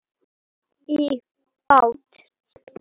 Svo var bara smíðað.